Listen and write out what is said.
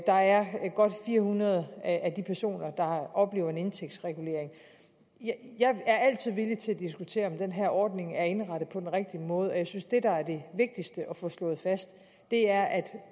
der er godt fire hundrede af de personer der oplever en indtægtsregulering jeg er altid villig til at diskutere om den her ordning er indrettet på den rigtige måde og jeg synes at det der er det vigtigste at få slået fast er at